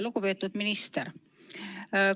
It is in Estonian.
Lugupeetud minister!